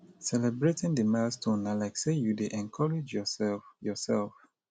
celebrating the milestone na like sey you dey encourage your self your self